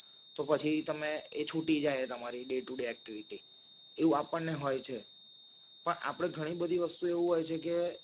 તો પછી તમે એ છૂટી જાઈ તમારી ડેટુ ડે એક્ટિવિટી એવું આપને હોય છે પણ આપણે ઘણી બધી વસ્તુ એવું હોય છે કે